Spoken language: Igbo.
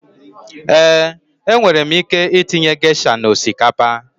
Eeǃ E nwere ike itinye gesha na osikapa.